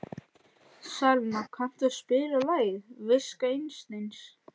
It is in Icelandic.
Salína, kanntu að spila lagið „Viska Einsteins“?